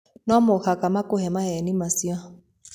No mũhaka makũhe maheeni macio.